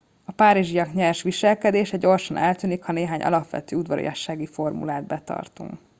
a párizsiak nyers viselkedése gyorsan eltűnik ha néhány alapvető udvariassági formulát betartunk